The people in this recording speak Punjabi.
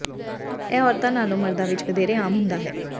ਇਹ ਔਰਤਾਂ ਨਾਲੋਂ ਮਰਦਾਂ ਵਿੱਚ ਵਧੇਰੇ ਆਮ ਹੁੰਦਾ ਹੈ